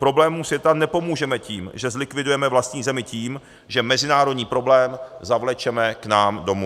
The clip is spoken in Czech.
Problémům světa nepomůžeme tím, že zlikvidujeme vlastní zemi tím, že mezinárodní problém zavlečeme k nám domů.